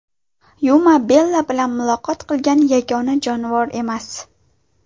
Yuma Bella bilan muloqot qilgan yagona jonivor emas.